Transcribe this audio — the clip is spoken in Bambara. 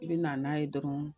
E be na n'a ye dɔrɔn